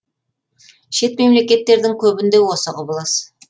шет мемлекеттердің көбінде осы құбылыс